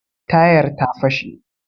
Tayar ta fashe